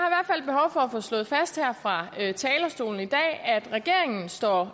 få slået fast her fra talerstolen i dag at regeringen står